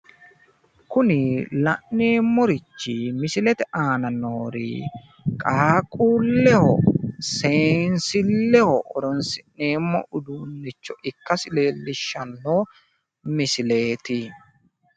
Kuni la'neemmorichi misilete aana noori qaaqquulleho seensilleho horonsi'neemmo uduunnicho ikkasi leellishshanno misileeti.